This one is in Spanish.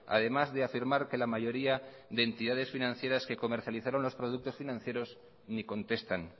además de afirmar que la mayoría de entidades financieras que comercializaron los productos financieros ni contestan